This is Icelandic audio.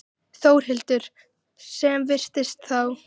Þórhildur: Sem fyrst þá?